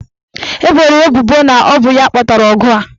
Eboro ya ebubo na ọ bụ ya kpatara ọgụ a.